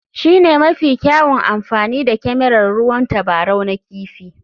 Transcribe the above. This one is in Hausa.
Shi ne mafi kyawun amfani da kyamarar ruwan tabarau na kifi.